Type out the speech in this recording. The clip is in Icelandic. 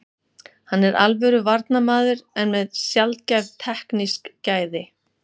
Hann er alvöru varnarmaður en með sjaldgæf teknísk gæði.